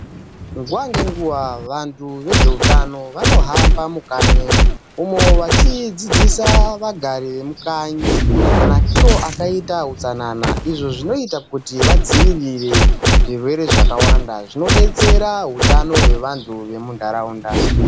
Nguva ngenguva vantu vezveutano vanohamba mukanyi umo wachidzidzisa vagari vemukanyi manakiro akaita utsanana. Izvo zvinoita kuti vadzivirire zvirwere zvakawanda zvinobetsera hutano hwevantu vemunharaunda.